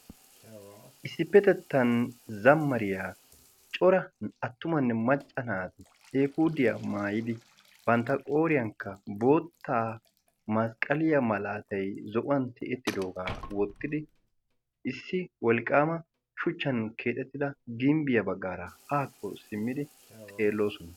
Issippetettan zamariyaa coran attumanne macca naati efudiyaa maayidi bantta qooriyaakka bootta masqqaliya malaatay zo'uwan ti7ettidoogaa wottidi issi wolqqaama shuchchan keexettida gimbbiyaa baggaara haakko simmidi xeeloosona.